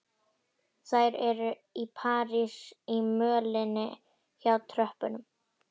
Þær eru í parís í mölinni hjá tröppunum.